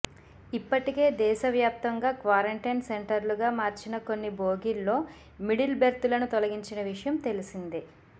ఇప్పటికే దేశవ్యాప్తంగా క్వారంటైన్ సెంటర్లుగా మార్చిన కొన్ని బోగీల్లో మిడిల్ బెర్తులను తొలగించిన విషయం తెలిసిందే